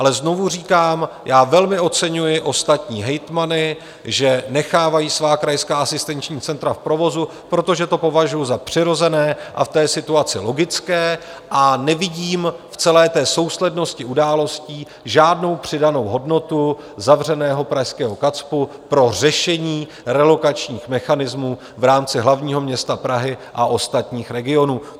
Ale znovu říkám, já velmi oceňuji ostatní hejtmany, že nechávají svá krajská asistenční centra v provozu, protože to považuji za přirozené a v té situaci logické, a nevidím v celé té souslednosti událostí žádnou přidanou hodnotu zavřeného pražského KACPU pro řešení relokačních mechanismů v rámci hlavního města Prahy a ostatních regionů.